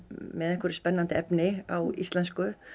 með spennandi efni á íslensku